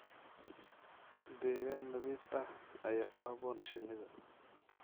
Deegaan nadiif ah ayaa ku habboon shinida.